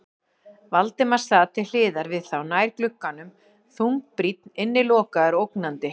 Valdimar sat til hliðar við þá, nær glugganum, þungbrýnn, innilokaður og ógnandi.